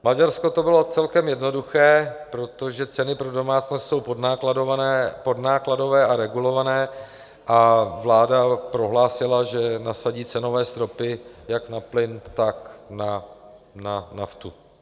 V Maďarsku to bylo celkem jednoduché, protože ceny pro domácnosti jsou podnákladové a regulované a vláda prohlásila, že nasadí cenové stropy jak na plyn, tak na naftu.